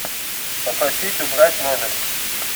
попросить убрать номер